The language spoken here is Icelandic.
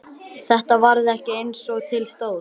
Þetta varð ekki eins og til stóð.